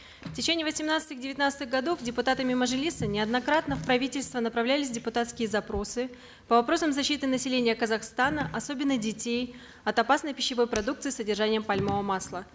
в течение восемнадцатых девятнадцатых годов депутатами мажилиса неоднократно в правительство направлялись депутатские запросы по вопросам защиты населения казахстана особенно детей от опасной пищевой продукции с содержанием пальмового масла